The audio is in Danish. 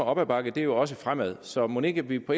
op ad bakke jo også fremad så mon ikke vi på